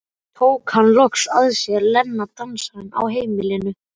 Sem tók hann loks að sér, Lena dansarinn á heimilinu.